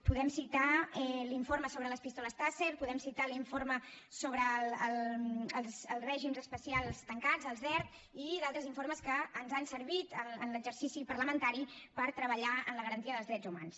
podem citar l’informe sobre les pistoles taser podem citar l’informe sobre els règims especials tancats els dert i d’altres informes que ens han servit en l’exercici parlamentari per treballar en la garantia dels drets humans